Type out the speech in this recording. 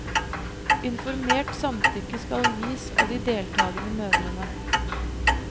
Informert samtykke skal gis av de deltagende mødrene.